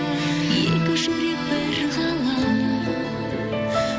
екі жүрек бір ғалам